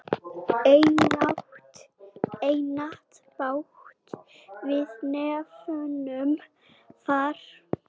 Einatt bát við nefnum far.